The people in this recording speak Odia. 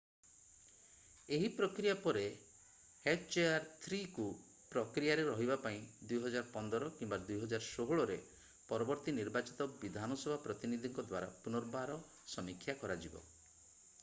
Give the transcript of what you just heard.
ଏହି ପ୍ରକ୍ରିୟା ପରେ hjr-3କୁ ପ୍ରକ୍ରିୟାରେ ରହିବା ପାଇଁ 2015 କିମ୍ବା 2016 ରେ ପରବର୍ତ୍ତୀ ନିର୍ବାଚିତ ବିଧାନସଭା ପ୍ରତିନିଧିଙ୍କ ଦ୍ୱାରା ପୁନର୍ବାର ସମୀକ୍ଷା କରାଯିବ।